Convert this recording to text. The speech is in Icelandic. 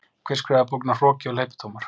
Hver skrifaði bókina Hroki og hleypidómar?